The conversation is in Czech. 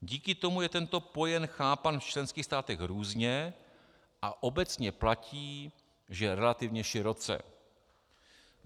Díky tomu je tento pojem chápán v členských státech různě a obecně platí, že relativně široce.